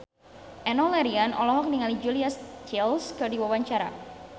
Enno Lerian olohok ningali Julia Stiles keur diwawancara